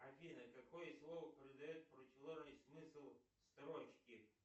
афина какое слово придает противоположный смысл строчке